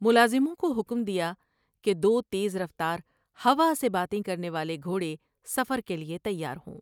ملازموں کو حکم دیا کہ دو تیز رفتار ہوا سے باتیں کرنے والے گھوڑے سفر کے لیے تیار ہوں ۔